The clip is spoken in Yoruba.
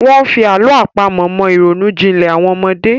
Wọ́n fi àlọ́ àpamọ̀ mọ ìrònú jinlẹ̀ àwọn ọmọdé.